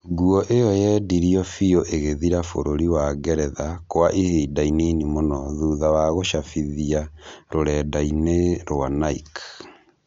Nguo ĩyo yendirio biũ ĩgĩthira bũrũri wa Ngeretha Kwa ihinda inini mũno thutha wa gũcabithia rũrendai-inĩ rwa Nike